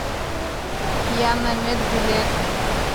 яннамед билет